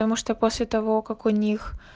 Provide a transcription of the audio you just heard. потому что после того как у них